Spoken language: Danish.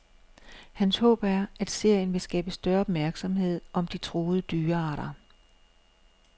Hans håb er, at serien vil skabe større opmærksomhed om de truede dyrearter.